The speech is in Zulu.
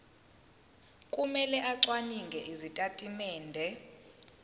kumele acwaninge izitatimende